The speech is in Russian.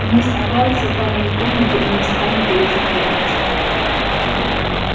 не испугался тайной комнаты и не станет её закрывать